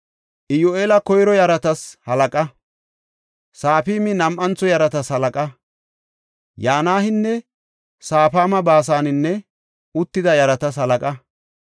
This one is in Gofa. Iyyu7eeli koyro yaratas halaqa; Safaami nam7antho yaratas halaqa. Yanaynne Safaami Baasanen uttida yaratas halaqa.